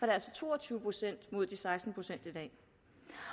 det altså to og tyve procent mod de seksten procent i dag det